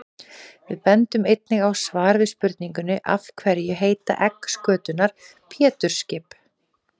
Við bendum einnig á svar við spurningunni Af hverju heita egg skötunnar Pétursskip?